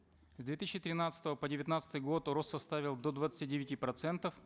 с две тысячи тринадцатого по девятнадцатый год рост составил до двадцати девяти процентов